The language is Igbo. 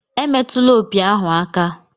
Emetụla opi ahu aka!